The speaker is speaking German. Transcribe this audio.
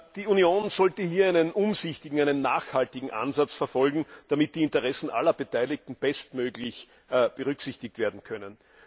Die Union sollte hier einen umsichtigen und nachhaltigen Ansatz verfolgen, damit die Interessen aller Beteiligten bestmöglich berücksichtigt werden können.